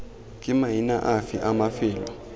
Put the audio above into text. ke maina afe a mafelo